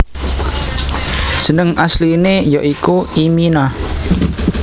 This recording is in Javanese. Jeneng asliné ya iku imina